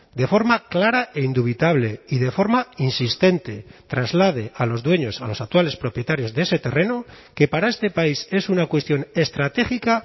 de forma clara e indubitable y de forma insistente trasladé a los dueños a los actuales propietarios de ese terreno que para este país es una cuestión estratégica